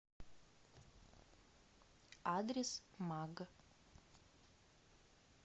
адрес маг